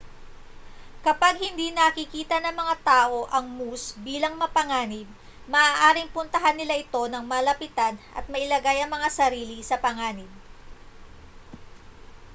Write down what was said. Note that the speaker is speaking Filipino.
kapag hindi nakikita ng mga tao ang moose bilang mapanganib maaaring puntahan nila ito nang malapitan at mailagay ang mga sarili sa panganib